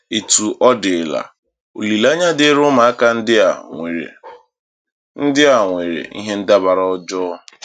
Etu ọ dịla, olileanya dịịrị ụmụaka ndị a nwere ndị a nwere ihe ndabara ọjọọ.